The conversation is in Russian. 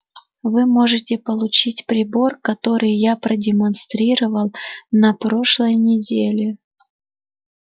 вы можете получить прибор который я продемонстрировал на прошлой неделе